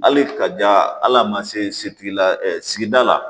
Hali kaja hali a ma se la sigida la